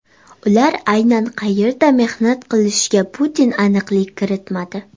Ular aynan qayerda mehnat qilishiga Putin aniqlik kiritmadi.